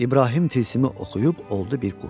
İbrahim tilsimi oxuyub oldu bir quş.